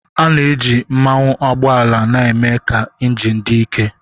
A na-eji mmanụ ụgbọala na-eme ka injin dị ike